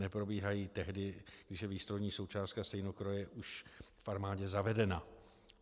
Neprobíhají tehdy, když je výstrojní součástka stejnokroje už v armádě zavedena.